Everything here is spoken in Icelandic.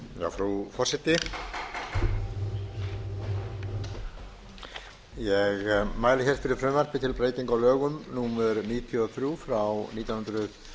frú forseti ég mæli fyrir frumvarpi til laga um breytingu á lögum númer níutíu og þrjú nítján hundruð